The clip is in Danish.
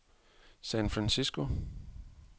San Francisco